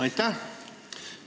Aitäh!